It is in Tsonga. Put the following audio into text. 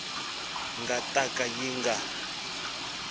nga ta ka yi nga